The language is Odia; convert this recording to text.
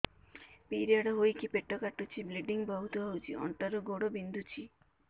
ପିରିଅଡ଼ ହୋଇକି ପେଟ କାଟୁଛି ବ୍ଲିଡ଼ିଙ୍ଗ ବହୁତ ହଉଚି ଅଣ୍ଟା ରୁ ଗୋଡ ବିନ୍ଧୁଛି